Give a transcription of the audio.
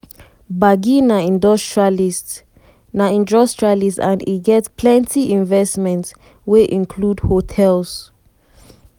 gbagi na industrialist na industrialist and e get plenty investments wey include hotels.